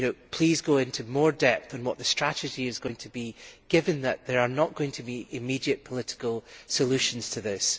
Please go into more depth on what the strategy is going to be, given that there are not going to be immediate political solutions to this.